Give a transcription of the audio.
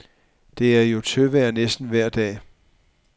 Det er jo tørvejr næsten vejr dag.